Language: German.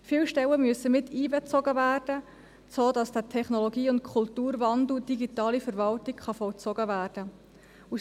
Viele Stellen müssen miteinbezogen werden, sodass der Technologie- und Kulturwandel Digitale Verwaltung vollzogen werden kann.